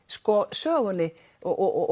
sögunni og